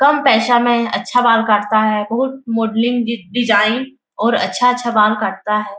कम पैसा में अच्छा बाल काटता है बहुत मोडलिंग डिजाइन और अच्छा-अच्छा बाल काटता है।